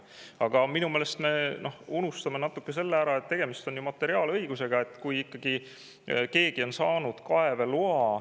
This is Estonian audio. Aga minu meelest me unustame ära selle, et tegemist on materiaalõigusega.